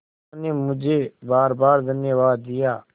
उन्होंने मुझे बारबार धन्यवाद दिया